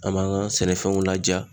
An m'an ga sɛnɛfɛnw laja